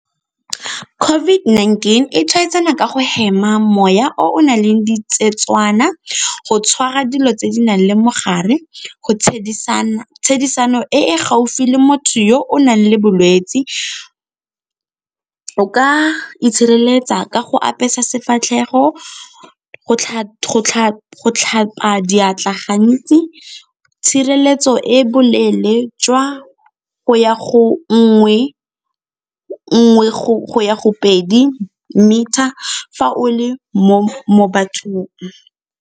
COVID-19 e tshwaetsana ka go hema moya o o nang le di go tshwara dilo tse di nang le mogare, tshedisano e e gaufi le motho yo o nang le bolwetse, o ka itshireletsa ka go apesa sefatlhego, go tlhapa diatla gantsi, tshireletso e boleele jwa go ya go nngwe go ya go pedi meter fa o le mo bathong.